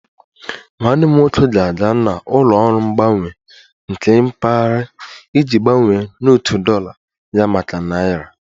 Nwanne m nwoke ga-aga na ụlọ ọrụ mgbanwanye nke mpaghara iji gbanwee ndetu dollar ya maka naira